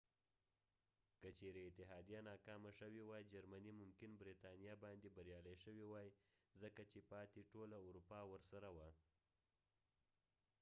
که چیرې اتحادیه ناکامه شوي وای جرمني ممکن برتانیا باندې بریالی شوي وای ځکه چې پاتې ټوله اروپا ورسره وه